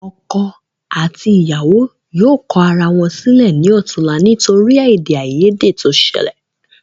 Ọkọ àti ìyàwó yóò kọ ara wọn sílẹ ní ọ̀túla nítorí ede ayede to sẹlẹ̀